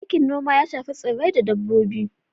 Aikin noma ya shafi tsirrai da dabbobi.